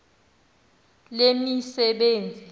lezemisebenzi